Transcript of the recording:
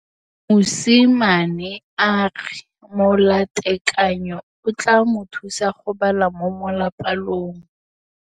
Mosimane a re molatekanyô o tla mo thusa go bala mo molapalong.